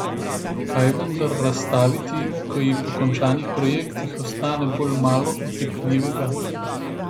Kaj vendar razstaviti, ko ji po končanih projektih ostane bolj malo otipljivega?